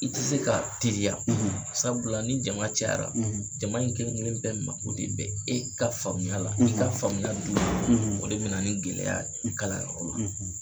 I te se kaa teliya sabula ni jama cayara, jama in kelen-kelen bɛɛ mago de bɛ e ka faamuya la. i ka faamuya duun o de bɛna ni gɛlɛya i kalanyɔrɔ la.